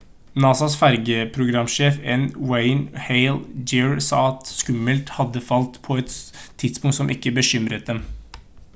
nasas fergeprogramsjef n. wayne hale jr. sa at skummet hadde falt «på et tidspunkt som ikke bekymret dem»